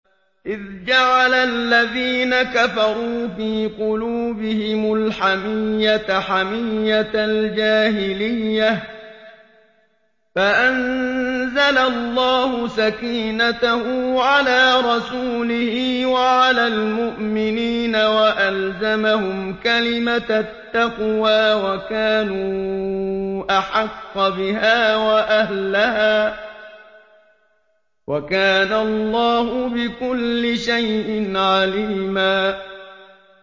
إِذْ جَعَلَ الَّذِينَ كَفَرُوا فِي قُلُوبِهِمُ الْحَمِيَّةَ حَمِيَّةَ الْجَاهِلِيَّةِ فَأَنزَلَ اللَّهُ سَكِينَتَهُ عَلَىٰ رَسُولِهِ وَعَلَى الْمُؤْمِنِينَ وَأَلْزَمَهُمْ كَلِمَةَ التَّقْوَىٰ وَكَانُوا أَحَقَّ بِهَا وَأَهْلَهَا ۚ وَكَانَ اللَّهُ بِكُلِّ شَيْءٍ عَلِيمًا